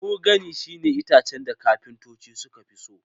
Mahogany shine itacen da kafintoci sukafi so